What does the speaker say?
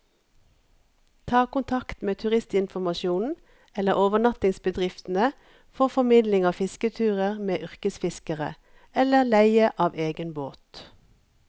Ta kontakt med turistinformasjonen eller overnattingsbedriftene for formidling av fisketurer med yrkesfiskere, eller leie av egen båt.